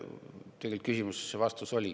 Ma usun, et küsimuses oli ka vastus.